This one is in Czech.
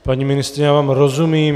Paní ministryně, já vám rozumím.